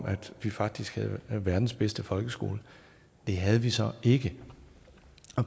at vi faktisk havde verdens bedste folkeskole det havde vi så ikke